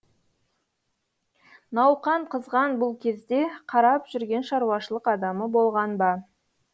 науқан қызған бұл кезде қарап жүрген шаруашылық адамы болған ба